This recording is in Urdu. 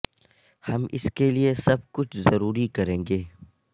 ہم اس کے لئے سب کچھ ضروری کریں گے